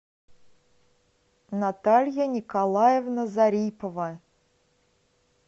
наталья николаевна зарипова